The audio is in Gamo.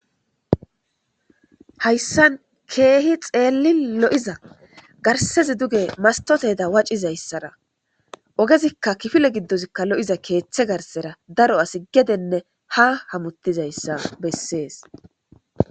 Hayssan keehi tsellin lo'iyza garssen duge mastote waciza issara ogezikka kifile giddozikka lo'iyza keetthe garssara daro asi gedenne ha hamutiza issa bessees.